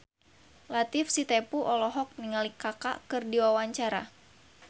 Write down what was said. Latief Sitepu olohok ningali Kaka keur diwawancara